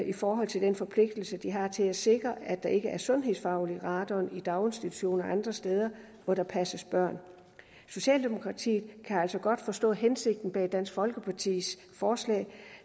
i forhold til den forpligtelse de har til at sikre at der ikke er sundhedsfarlig radon i daginstitutioner og andre steder hvor der passes børn socialdemokratiet kan altså godt forstå hensigten bag dansk folkepartis forslag